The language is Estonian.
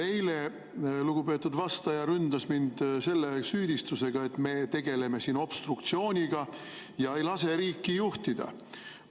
Eile ründas lugupeetud vastaja mind selle süüdistusega, et me tegeleme siin obstruktsiooniga ja ei lase riiki juhtida.